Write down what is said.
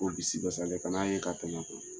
Polisi ka ca lɛ kana'a ye ka tɛmɛ to